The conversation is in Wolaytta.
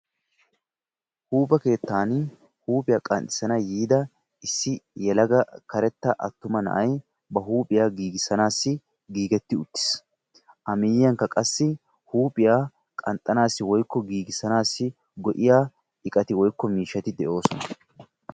huuphphe keettaan huuphiya qanxxisanawu yiida issi yelaga karetta attuma na''ay ba huuphiya giigisanasi giigetti uttiis. a miyiyaanikka qassi huuphphiya qanxanaasi woykko giigisanaassi go'iya iqqati woykko miishshati de'oosona.